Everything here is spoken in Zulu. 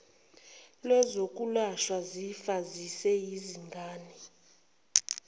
lwezokwelashwa zifa ziseyizingane